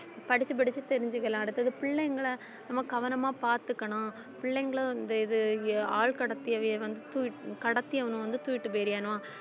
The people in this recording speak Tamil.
படிச்சு படிச்சு தெரிஞ்சுக்கலாம் அடுத்தது பிள்ளைங்களை நம்ம கவனமா பார்த்துக்கணும் பிள்ளைங்களும் இந்த இது அஹ் ஆள் கடத்தியவையை வந்து தூக்கிட்டு கடத்தி அவன வந்து தூக்கிட்டுபோயிரியனும்